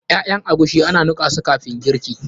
Ƴaƴan agushi ana nika su kafin girki.